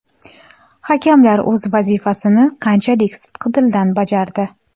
Hakamlar o‘z vazifasini qanchalik sidqidildan bajardi?